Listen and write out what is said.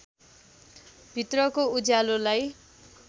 भित्रको उज्यालोलाई